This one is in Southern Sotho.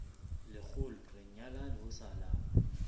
lekgolo re nyalane ho salang